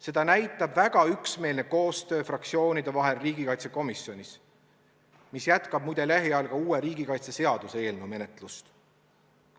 Seda näitab väga üksmeelne koostöö fraktsioonide vahel riigikaitsekomisjonis, mis jätkab muide lähiajal ka uue riigikaitseseaduse eelnõu menetlust.